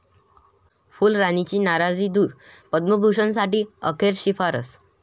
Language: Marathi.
फुलराणी'ची नाराजी दूर, 'पद्मभूषण'साठी अखेर शिफारस